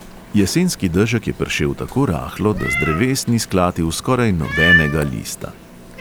Jesenski dežek je pršel tako rahlo, da z dreves ni sklatil skoraj nobenega lista.